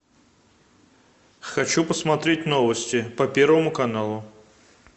хочу посмотреть новости по первому каналу